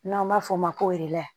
N'an b'a f'o ma ko